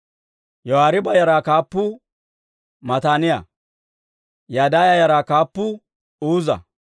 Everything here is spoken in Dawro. Yoyaariiba yaraa kaappuu Matanaaya. Yadaaya yaraa kaappuu Uuza.